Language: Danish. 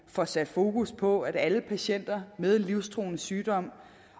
får sat fokus på alle patienter med livstruende sygdomme